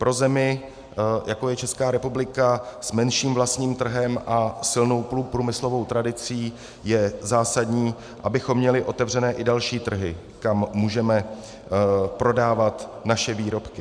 Pro zemi, jako je Česká republika, s menším vlastním trhem a silnou průmyslovou tradicí, je zásadní, abychom měli otevřené i další trhy, kam můžeme prodávat naše výrobky.